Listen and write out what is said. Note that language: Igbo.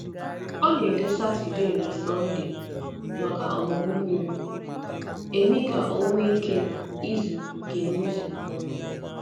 Ọ na-edò Saturday na Sunday maka ọmụmụ miri emi ka o nwee ike izu ike n’izu.